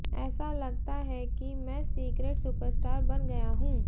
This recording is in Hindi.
ऐसा लगता है कि मैं सीक्रेट सुपरस्टार बन गया हूं